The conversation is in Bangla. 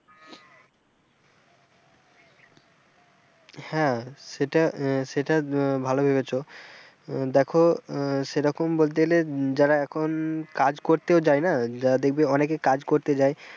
হ্যাঁ সেটা আহ সেটা আহ ভালো ভেবেছো দেখো আহ সেরকম বলতে গেলে যারা এখন কাজ করতেও যায় না যারা দেখবে অনেকে কাজ করতে যায়,